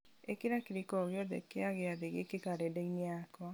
ĩkĩra kĩrĩko o gĩothe kĩa gĩathĩ gĩkĩ karenda-inĩ yakwa